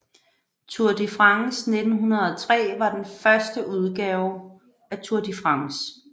Tour de France 1903 var den første udgave Tour de France